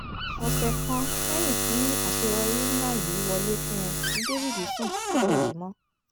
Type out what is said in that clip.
ọ̀sẹ̀ kan lẹ́yìn tí àṣeyọrí ńlá yìí wọlé fún un ni david sùn tí kò jí mọ́